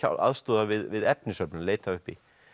aðstoða við efnisöflun leita uppi